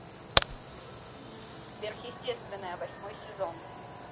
сверхъестественное восьмой сезон